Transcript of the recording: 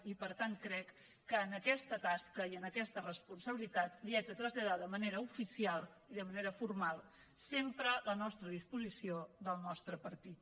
i per tant crec que en aquesta tasca i en aquesta responsabilitat li haig de traslladar de manera oficial i de manera formal sempre la nostra disposició del nostre partit